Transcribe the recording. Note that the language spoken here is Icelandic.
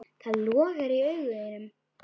Það logar í augum þínum.